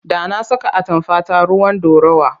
Da na saka atamfata ruwan ɗorawa.